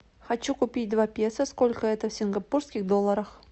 хочу купить два песо сколько это в сингапурских долларах